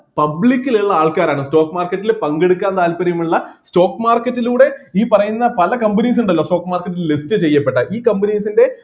public ൽ ഇള്ള ആൾക്കാരാണ് stock market ൽ പങ്കെടുക്കാൻ താൽപ്പര്യമുള്ള stock market ലൂടെ ഈ പറയുന്ന പല companies ഉണ്ടല്ലോ stock market ൽ list ചെയ്യപ്പെട്ട ഈ companies ൻ്റെ